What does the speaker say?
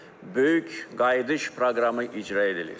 Böyük Qayıdış proqramı icra edilir.